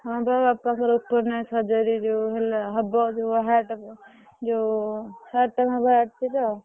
ହଁ ବା ବାପାଙ୍କର open heart surgery ଯୋଉ ହେଲା ହବ ଯୋଉ heart ର ଯୋଉ ଆଉ।